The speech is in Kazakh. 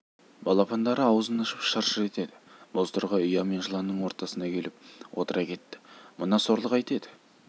балапандары аузын ашып шыр-шыр етеді бозторғай ұя мен жыланның ортасына келіп отыра кетті мына сорлы қайтеді